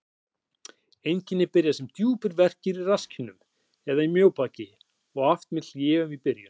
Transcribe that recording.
Einkenni byrja sem djúpir verkir í rasskinnum eða mjóbaki, oft með hléum í byrjun.